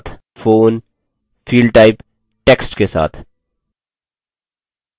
phone fieldtype text के साथ